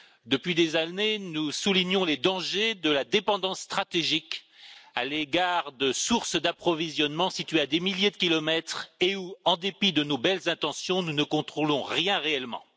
Depuis des années, nous soulignons les dangers de la dépendance stratégique à l'égard de sources d'approvisionnement situées à des milliers de kilomètres et où, en dépit de nos belles intentions, nous ne contrôlons rien réellement.